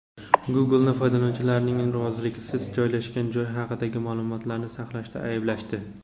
Google’ni foydalanuvchilarning roziligisiz joylashgan joy haqidagi ma’lumotlarni saqlashda ayblashdi.